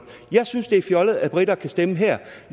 jeg synes det er fjollet at briter kan stemme her